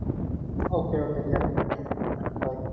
ok ok দিয়া দে অ bye